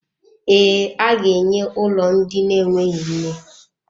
Ee, aga-enwe ụlọ ndị na-enweghị nne.